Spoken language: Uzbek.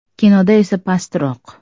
Kinoda esa pastroq”.